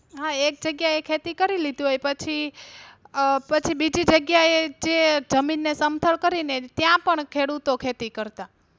હા. એક જગ્યા એ ખેતી કરી લીધી હોય પછી અ પછી બીજી જગ્યા એ જે જમીન ને સમથલ કરી ને ત્યાં પણ ખેડૂતો ખેતી કરતા.